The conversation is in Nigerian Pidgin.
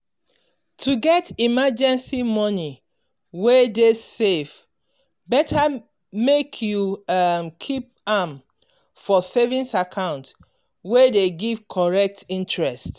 to get emergency money wey dey safe better make you um keep am for savings account wey dey give correct interest.